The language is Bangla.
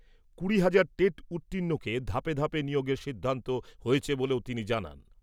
কুড়ি হাজার টেট উত্তীর্ণকে ধাপে ধাপে নিয়োগের সিদ্ধান্ত হয়েছে বলেও তিনি জানান।